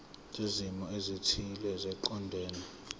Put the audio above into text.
zezimo ezithile eziqondene